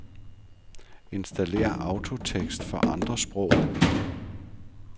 Installér autotekst for andre sprog.